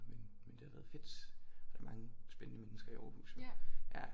Men men det har været fedt der er mange spændende mennesker i Aarhus ja